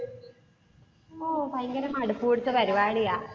ഓ ഭയങ്കര മടുപ്പ് പിടിച്ച പരിപാടിയാ.